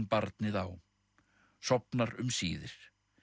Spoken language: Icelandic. barnið á sofnar um síðir